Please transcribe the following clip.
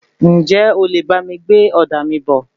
Ǹjẹ́ o lè bá mi gbé òdà mí bọ̀?